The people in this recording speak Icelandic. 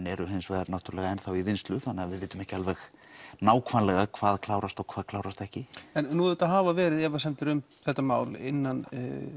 eru náttúrulega enn þá í vinnslu þannig að við vitum ekki alveg nákvæmlega hvað klárast og hvað klárast ekki en nú hafa verið efasemdir um þetta mál innan